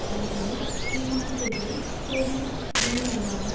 கொள்கையைத் தீர்மானம்செய்வதில் சோவியத் யூனியனுடனான